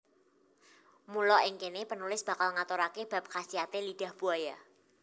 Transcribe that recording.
Mula ing kene penulis bakal ngaturake bab khasiate lidah buaya